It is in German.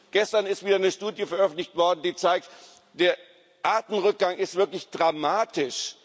Gestern ist wieder eine Studie veröffentlicht worden, die zeigt, der Artenrückgang ist wirklich dramatisch.